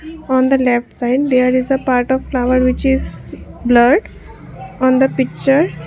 on the left side there is a part of flower which is blurred on the picture.